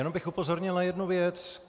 Jenom bych upozornil na jednu věc.